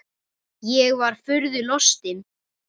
Ég var furðu lostin.